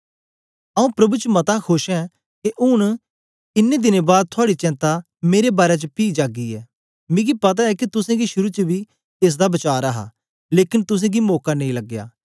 आऊँ प्रभु च मता खोश ऐं के ऊन इन्नें दिनें बाद थुआड़ी चेंता मेरे बारै च पी जागी ऐ मिकी पता ऐ के तुसेंगी शुरू च बी एस दा वचार हा लेकन तुसेंगी मौका नेई लगया